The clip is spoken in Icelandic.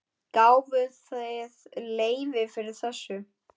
Gáfuð þið leyfi fyrir þessu?